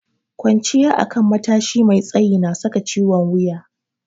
Kwanciya akan matashi mai tsayi na saka ciwon wuya.